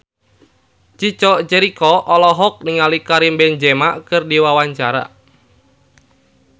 Chico Jericho olohok ningali Karim Benzema keur diwawancara